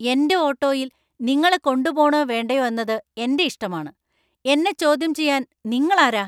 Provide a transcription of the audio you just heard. എന്‍റെ ഓട്ടോയിൽ നിങ്ങളെ കൊണ്ടുപോണോ വേണ്ടയോ എന്നത് എന്‍റെ ഇഷ്ടമാണ് . എന്നെ ചോദ്യം ചെയ്യാൻ നിങ്ങൾ ആരാ ?